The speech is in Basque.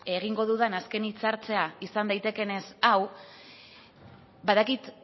egingo dudan azken hitzartzea izan daitekeenez hau badakit